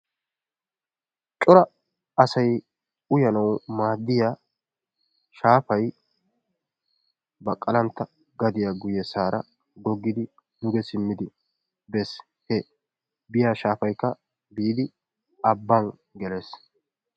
cora asay uyyanawu maaddiyaa shaafay baqalantta gadiyaa guyesaara googoidi duge simidi bees. he biyaa shaafaykka biidi abbaan gelees.